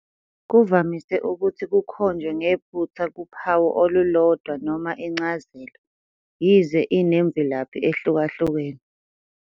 Kuvamise ukuthi kukhonjwe ngephutha kuphawu olulodwa noma incazelo, yize inemvelaphi ehlukahlukene.